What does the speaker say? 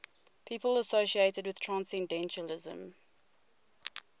people associated with transcendentalism